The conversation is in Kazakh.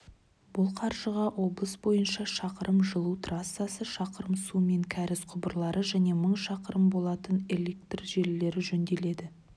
бұл қаржыға облыс бойынша шақырым жылу трассасы шақырым су мен кәріз құбырлары және мың шақырым болатын электр желілері жөнделеді